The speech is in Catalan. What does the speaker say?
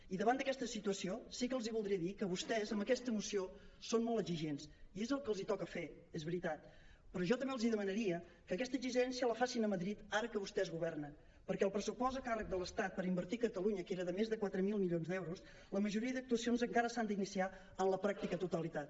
i davant d’aquesta situació sí que els voldria dir que vostès amb aquesta moció són molt exigents i és el que els toca fer és veritat però jo també els demanaria que aquesta exigència la facin a madrid ara que vostès governen perquè del pressupost a càrrec de l’estat per invertir a catalunya que era de més de quatre mil milions d’euros la majoria d’actuacions encara s’han d’iniciar en la pràctica totalitat